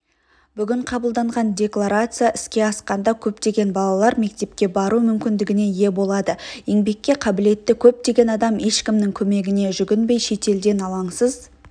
бүгін қабылданған декларация іске асқанда көптеген балалар мектепке бару мүмкіндігіне ие болады еңбекке қабілетті көптеген адам ешкімнің көмегіне жүгінбей шетелден алаңсыз